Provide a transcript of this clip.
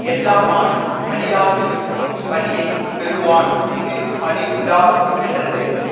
எல்லா நாளும் அழியாது நிற்கும் பழியை பெறுவான் இது பழியுண்டா மென்றது